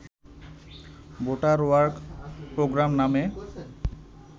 better work program নামে